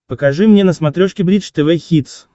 покажи мне на смотрешке бридж тв хитс